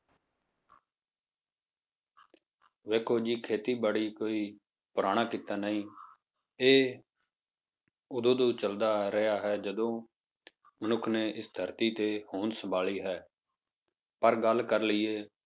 ਵੇਖੋ ਜੀ ਖੇਤੀਬਾੜੀ ਕੋਈ ਪੁਰਾਣਾ ਕਿੱਤਾ ਨਹੀਂ ਇਹ ਉਦੋਂ ਤੋਂ ਚੱਲਦਾ ਆ ਰਿਹਾ ਹੈ, ਜਦੋਂ ਮਨੁੱਖ ਨੇ ਇਸ ਧਰਤੀ ਤੇ ਹੋਂਦ ਸੰਭਾਲੀ ਹੈ, ਪਰ ਗੱਲ ਕਰ ਲਈਏ